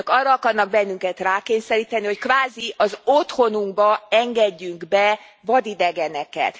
Önök arra akarnak bennünket rákényszeríteni, hogy kvázi az otthonunkba engedjünk be vadidegeneket.